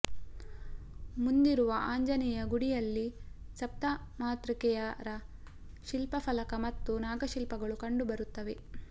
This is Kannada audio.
ಮುಂದಿರುವ ಆಂಜನೇಯ ಗುಡಿಯಲ್ಲಿ ಸಪ್ತಮಾತೃಕೆಯರ ಶಿಲ್ಪಫಲಕ ಮತ್ತು ನಾಗಶಿಲ್ಪಗಳು ಕಂಡು ಬರುತ್ತವೆ